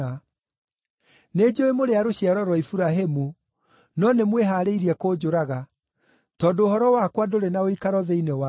Nĩnjũũĩ mũrĩ a rũciaro rwa Iburahĩmu, no nĩmwĩharĩirie kũnjũraga, tondũ ũhoro wakwa ndũrĩ na ũikaro thĩinĩ wanyu.